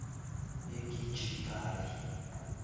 egijigali